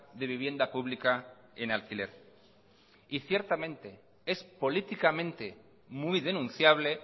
de vivienda pública en alquiler y ciertamente es políticamente muy denunciable